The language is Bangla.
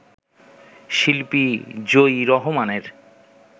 শিল্পী জোয়ি রহমানের